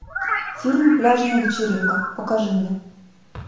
фильм пляжная вечеринка покажи мне